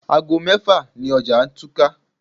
Aago mẹ́fà ni ọjà túká.